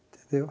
Entendeu?